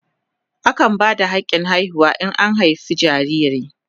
Akan ba da hakin haihuwa in an haife jariri.